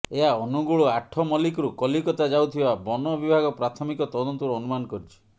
ଏହା ଅନୁଗୁଳ ଆଠ ମଲ୍ଲିକରୁ କଲିକତା ଯାଉଥିବା ବନବିଭାଗ ପ୍ରାଥମିକ ତଦନ୍ତରୁ ଅନୁମାନ କରିଛି